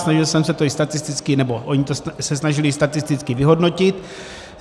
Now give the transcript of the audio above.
Snažil jsem se to i statisticky, nebo oni se to snažili statisticky vyhodnotit.